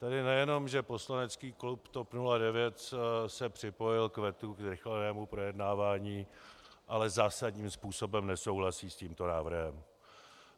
Tady nejenom že poslanecký klub TOP 09 se připojil k vetu ke zrychlenému projednávání, ale zásadním způsobem nesouhlasí s tímto návrhem.